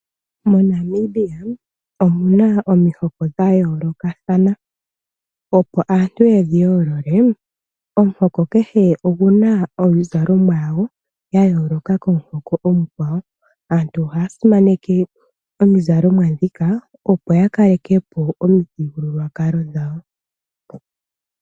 MoNamibia omu na omihoko dha yoolokathana. Opo aantu yedhi yoolole, omuhoko kehe oguna omizalomwa yawo ya yooloka komu hoko omukwawo. Aantu ohaya simaneke omizalomwa ndhika, opo ya kalekepo omithigululwakalo dhawo.